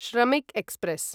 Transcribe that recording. Shramik express